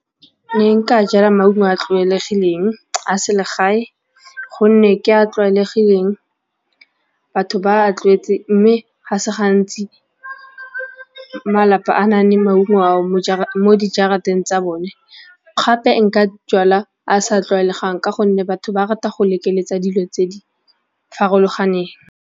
Ke ne nka jala maungo a a tlwaelegileng a selegae gonne ke a tlwaelegileng, batho ba a tlwaetse mme ga se gantsi malapa a nang le maungo ao mo dijarateng tsa bone gape nka jala a sa tlwaelegang ka gonne batho ba rata go lekeletsa dilo tse di farologaneng.